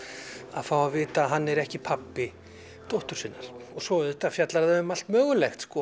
að fá að vita að hann er ekki pabbi dóttur sinnar svo auðvitað fjallar það um allt mögulegt